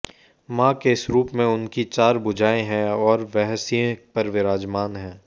मां के इस रूप में उनकी चार भुजाएं हैं और वह सिंह पर विराजमान है